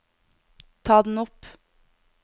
ta den opp